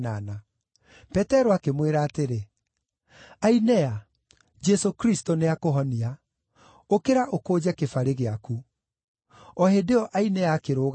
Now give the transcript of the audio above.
Petero akĩmwĩra atĩrĩ, “Ainea, Jesũ Kristũ nĩakũhonia. Ũkĩra ũkũnje kĩbarĩ gĩaku.” O hĩndĩ ĩyo Ainea akĩrũgama.